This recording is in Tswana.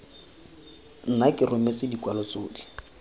nna ke rometse dikwalo tsotlhe